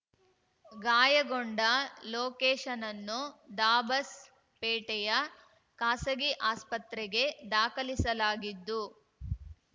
ಗಾಯಗೊಂಡ ಲೋಕೇಶನನ್ನು ದಾಬಸ್‌ಪೇಟೆಯ ಖಾಸಗಿ ಆಸ್ಪತ್ರೆಗೆ ದಾಖಲಿಸಲಾಗಿದ್ದು